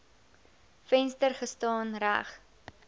venster gestaan reg